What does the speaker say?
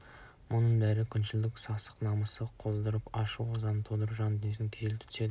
мұның бәрі күншілдің сасық намысын қоздырып ашу-ызасын тудырады жан дүниесін күйзелте түседі